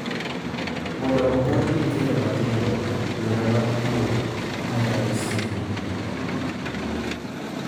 Mondo opuonj nyithindo matindo yore mag pur ma nyalo siro ngima,